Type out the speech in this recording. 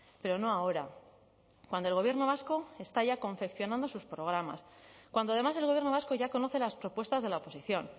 pero no ahora cuando el gobierno vasco está ya confeccionando sus programas cuando además el gobierno vasco ya conoce las propuestas de la oposición